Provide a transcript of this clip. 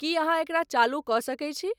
की अहाँएकरा चालू क सके छी